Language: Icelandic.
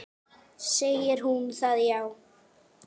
Segir hún það, já?